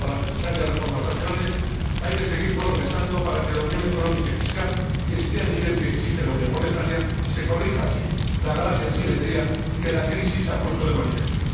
Junto a las necesarias reformas nacionales, hay que seguir progresando para que la unión económica y fiscal esté al nivel que exige la unión monetaria y se corrija así la grave asimetría que la crisis ha puesto de manifiesto.